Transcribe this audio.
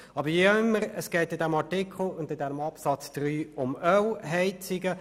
Aber wie dem auch sei: Es geht bei diesem Artikel und diesem Absatz 3 um Ölheizungen.